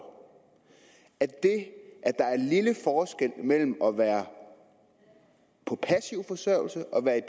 at det at der er en lille forskel mellem at være på passiv forsørgelse og at være